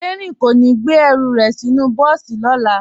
Dẹrín kò ní gbé ẹrù rẹ̀ sínú bọ́ọ̀sì lọ́la